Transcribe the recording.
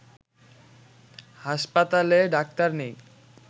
হাসপাতালে ডাক্তার নেই